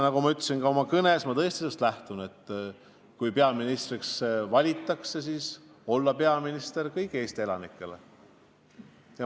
Nagu ma ütlesin ka oma kõnes: ma lähtun sellest, et kui mind peaministriks valitakse, siis tahan ma olla peaminister kõigile Eesti elanikele.